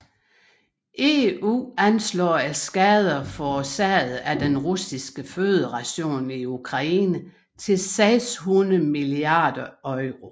EU anslår skaderne forårsaget af Den Russiske Føderation i Ukraine til 600 milliarder euro